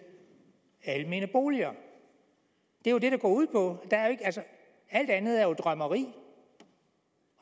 almene boliger det er jo det det går ud på alt andet er jo drømmerier